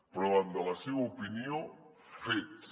però davant de la seva opinió fets